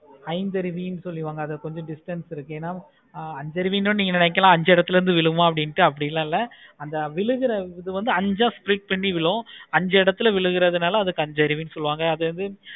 ஐந்தருவி சொல்லி கொஞ்சம் distance இருக்கு. ஆஹ் அஞ்சறை மீனு நீங்க நினைக்கலாம். அஞ்சு இடத்துல இருந்து விழுகலாம் நீங்க நினைக்கலாம். அந்த விழுகுற இது வந்து அஞ்ச split பண்ணி விழும். அஞ்சு இடத்துல விழுகுறனாள அதுக்கு அஞ்சு அறிவு சொல்லுவாங்க.